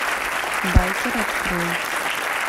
байкер открой